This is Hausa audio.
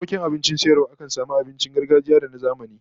Bukkokin abincin sayarwa akan samu abincin gargajiya da na zamani